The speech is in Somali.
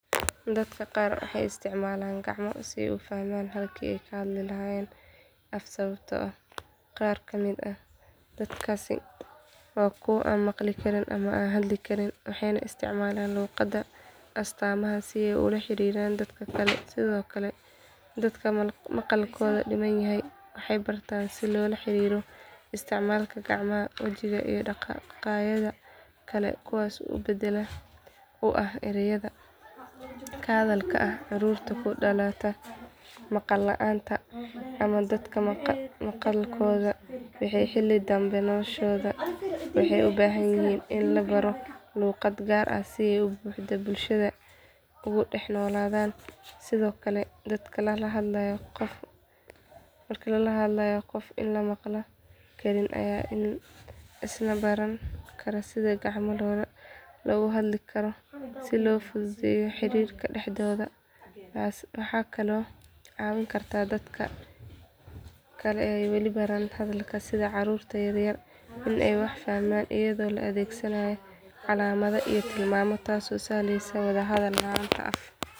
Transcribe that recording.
Dadka qaar waxay isticmaalaan gacmo si ay isu fahmaan halkii ay ka hadli lahaayeen af sababtoo ah qaar ka mid ah dadkaas waa kuwo aan maqli karin ama aan hadli karin waxayna isticmaalaan luqadda astaamaha si ay ula xiriiraan dadka kale sidoo kale dadka maqalkooda dhiman yahay waxay bartaan sida loola xiriiro isticmaalka gacmaha wejiga iyo dhaqaaqyada kale kuwaas oo beddel u ah erayada la hadalka ah carruurta ku dhalata maqla la’aanta ama dadka maqalkooda waayey xilli dambe noloshooda waxay u baahan yihiin in la baro luqad gaar ah si ay si buuxda bulshada ugu dhex noolaadaan sidoo kale dadka la hadlaya qof aan maqla karin ayaa isna baran kara sida gacmo loogu hadlo si loo fududeeyo xiriirka dhexdooda waxay kaloo caawin kartaa dadka kale ee aan weli baran hadalka sida carruurta yar yar in ay wax fahmaan iyadoo la adeegsado calaamado iyo tilmaamo taasoo sahlaysa wada hadal la’aan af.